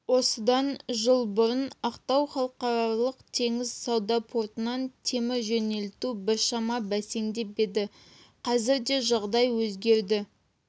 осыдан жыл бұрын ақтау халықаралық теңіз сауда портынан темір жөнелту біршама бәсеңдеп еді қазірде жағдай өзгерді